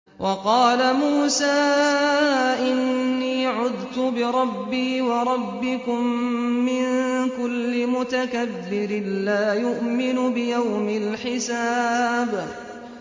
وَقَالَ مُوسَىٰ إِنِّي عُذْتُ بِرَبِّي وَرَبِّكُم مِّن كُلِّ مُتَكَبِّرٍ لَّا يُؤْمِنُ بِيَوْمِ الْحِسَابِ